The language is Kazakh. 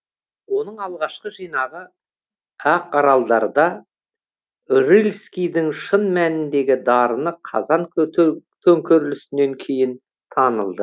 оның алғашқы жинағы ақаралдарда рыльскийдің шын мәніндегі дарыны қазан төңкерілісінен кейін танылды